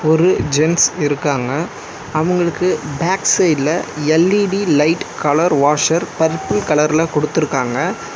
ஒரு ஜென்ஸ் இருக்காங்க அவங்களுக்கு பேக் சைடுல LED light colour washer purple கலர்ல குடுத்துருக்காங்க.